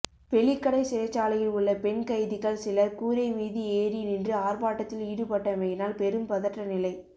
வெலிக்கடை சிறைச்சாலையில் உள்ள பெண் கைதிகள் சிலர் கூறை மீது ஏரி நின்று ஆர்ப்பாட்டத்தில் ஈடுபட்டமையினால் பெரும் பதற்ற நிலை